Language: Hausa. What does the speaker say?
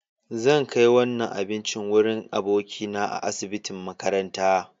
Zan kai wannan abincin wurin abokina a asibitin makaranta.